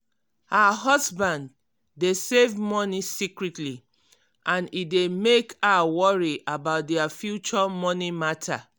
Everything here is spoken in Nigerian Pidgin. her husband dey save money secretly and e dey mek her worry about their future money matter.